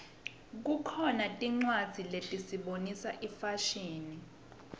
kukhona tincwadzi letisibonisa ifashini